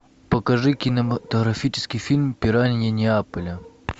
покажи кинематографический фильм пираньи неаполя